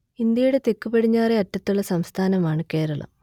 ഇന്ത്യയുടെ തെക്കുപടിഞ്ഞാറെ അറ്റത്തുള്ള സംസ്ഥാനമാണ് കേരളം